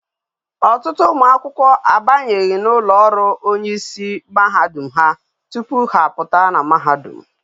Otutu umu akwukwo abanyeghi na ulo oru onye is mahadum ha tupu ha aputa na mahadum